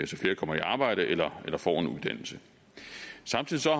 så flere kommer i arbejde eller får en uddannelse samtidig